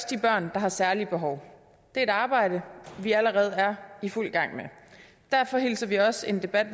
de børn der har særlige behov det er et arbejde vi allerede er i fuld gang med derfor hilser vi også en debat